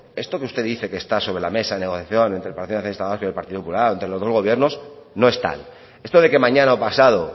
esto que usted dice que está sobre la mesa de negociación entre el partido nacionalista vasco y el partido popular entre los dos gobiernos no es tal esto de que mañana o pasado